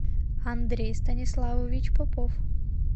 андрей станиславович попов